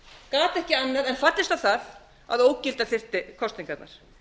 gat ekki annað en fallist á það að ógilda þyrfti kosningarnar